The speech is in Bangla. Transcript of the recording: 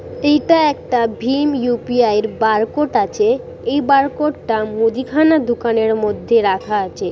এটা একটা ভিম ইউ.পি.আই বারকোড আছে এই বারকোড টা মুদিখানা দোকানের মধ্যে রাখা আছে।